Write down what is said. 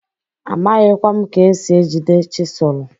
Amaghịkwa m ka esi ejide chịsụlụ.